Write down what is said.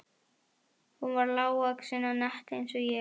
Hún var lágvaxin og nett eins og ég.